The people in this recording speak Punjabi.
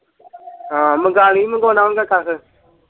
ਹਾਂ ਮੰਗਾ ਲੀ ਮੰਗਵਾਉਣਾ ਹੂਗਾ ਕੱਖ।